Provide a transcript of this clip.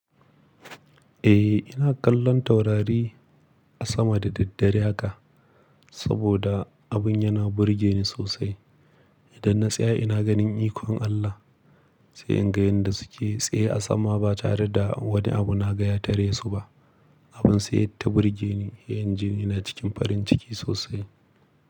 Eh, ina kallon taurari a sama da daddare haka saboda abin yana burge ni sosai. Idan na tsaya ina ganin ikon Allah, sai in ga yanda suke tsaye a sama ba tare da wani abu na gaya tare su ba. Abun sai ya ta burge ni, yayin ji ina cikin farin ciki sosai.